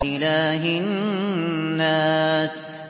إِلَٰهِ النَّاسِ